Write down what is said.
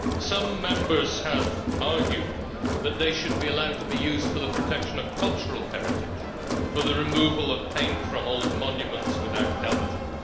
Some Members have argued that they should be allowed to be used for the protection of cultural heritage, for the removal of paint from old monuments without damaging.